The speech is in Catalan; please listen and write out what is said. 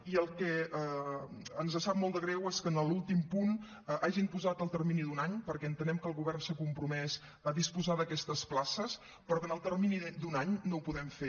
i el que ens sap molt de greu és que en l’últim punt hagin posat el termini d’un any perquè entenem que el govern s’ha compromès a disposar d’aquestes places però que en el termini d’un any no ho podem fer